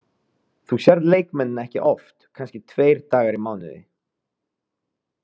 Þú sérð leikmennina ekki oft, kannski tveir dagar í mánuði.